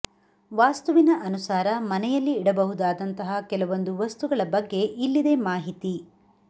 ವಾಸ್ತುವಿನ ಅನುಸಾರ ಮನೆಯಲ್ಲಿ ಇಡಬಹುದಾದಂತಹ ಕೆಲವೊಂದು ವಸ್ತುಗಳ ಬಗ್ಗೆ ಇಲ್ಲಿದೆ ಮಾಹಿತಿ